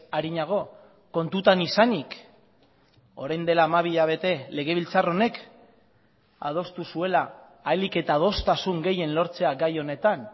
arinago kontutan izanik orain dela hamabi hilabete legebiltzar honek adostu zuela ahalik eta adostasun gehien lortzea gai honetan